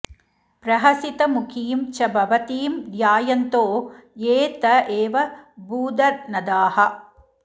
प्रहसितमुखीं च भवतीं ध्यायन्तो ये त एव भूधनदाः